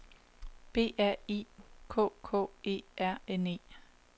B R I K K E R N E